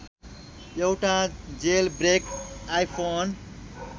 एउटा jailbreak iPhone